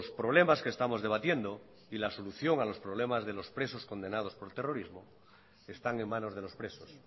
problemas que estamos debatiendo y la solución a los problemas de los presos condenados por terrorismo están en manos de los presos